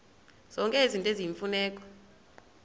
zonke izinto eziyimfuneko